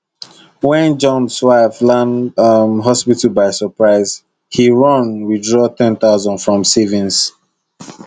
when johns wife land um hospital by surprise he run withdraw 10000 from savings